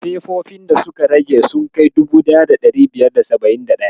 Fefofin da suka rage sun kai 1571?